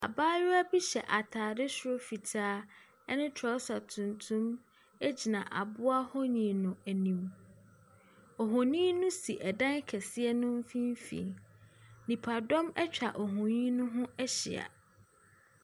Abaayewa bi hyɛ atdeɛ soro fitaa ne trɔsa tuntum gyina aboa ho nwi no anim. Ohonin no si dan kɛseɛ no mfimfini. Nipadɔm atwa ohonin no ho ahyia.